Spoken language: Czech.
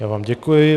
Já vám děkuji.